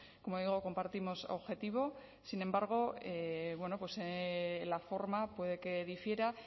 como digo compartimos objetivo sin embargo la forma puede que difiera